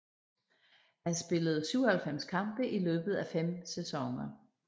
Han spillede 97 kampe i løbet af fem sæsoner